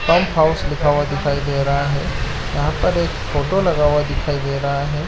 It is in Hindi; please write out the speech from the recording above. पंप हाउस लिखा हुआ दिखाई दे रहा है यहाँ पर एक फोटो लगा हुआ दिखाई दे रहा है।